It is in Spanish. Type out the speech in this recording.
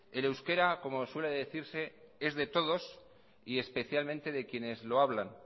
el euskera como suele decirse es de todos y especialmente de quienes lo hablan